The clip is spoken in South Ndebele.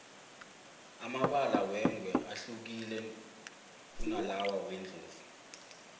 amabala wengwe ahlukile kunalawa wendlovu